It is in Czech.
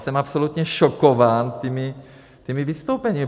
Jsem absolutně šokován těmi vystoupeními.